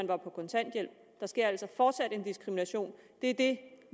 var på kontanthjælp der sker altså fortsat en diskrimination det er det